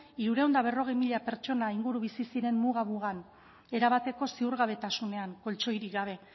hirurehun eta berrogei mila pertsona inguru bizi ziren muga mugan erabateko ziurgabetasunean koltxoirik gabe